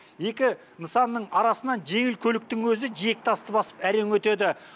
екі нысанның арасынан жеңіл көліктің өзі жиектасты басып әрең өтеді